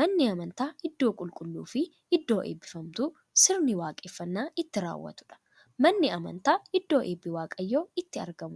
Manni amantaa iddoo qulqulluufi iddoo eebbifamtuu, sirna waaqeffannaa itti raawwatuudha. Manni amantaa iddoo eebbi waaqayyoo itti argamuudha.